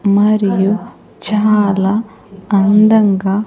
మరియు చాలా అందంగా.